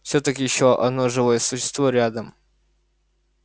всё-таки ещё одно живое существо рядом